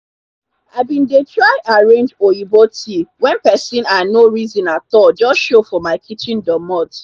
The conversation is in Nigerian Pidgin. i bin d try arange oyibo tea wen pesin i nor reson atallll just show for my kitchen doormot